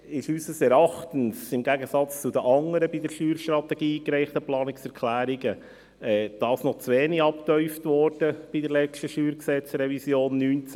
Dies wurde unseres Erachtens, im Gegensatz zu den anderen zur Steuerstrategie eingereichten Planungserklärungen, bei der letzten Revision 2019 des Steuergesetzes (StG) noch zu wenig vertieft.